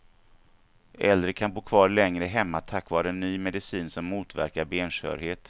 Äldre kan bo kvar längre hemma tack vare ny medicin som motverkar benskörhet.